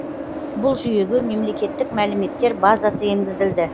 бұл жүйеге мемлекеттік мәліметтер базасы енгізілді